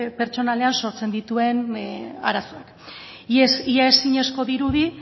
pertsonalean sortzen dituen arazoak ia ezinezkoa dirudi